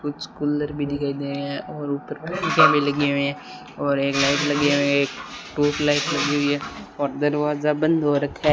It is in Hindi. कुछ कूलर भी दिखाई दे रहे हैं और ऊपर शीशा भी लगे हुए है और एक लाइट लगी है एक ट्यूबलाइट लगी हुई है और दरवाजा बंद हो रखा --